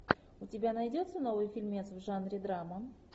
у тебя найдется новый фильмец в жанре драма